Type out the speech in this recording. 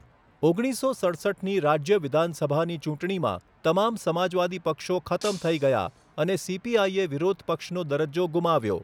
ઓગણીસો સડસઠની રાજ્ય વિધાનસભાની ચૂંટણીમાં, તમામ સમાજવાદી પક્ષો ખતમ થઈ ગયા અને સીપીઆઇએ વિરોધ પક્ષનો દરજ્જો ગુમાવ્યો.